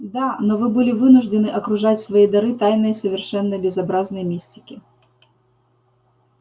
да но вы были вынуждены окружать свои дары тайной совершенно безобразной мистики